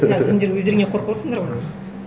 а сендер өздеріңе қорқып отырсыңдар ғой